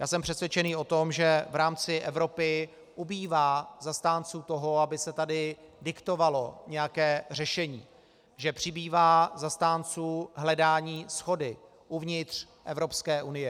Já jsem přesvědčený o tom, že v rámci Evropy ubývá zastánců toho, aby se tady diktovalo nějaké řešení, že přibývá zastánců hledání shody uvnitř Evropské unie.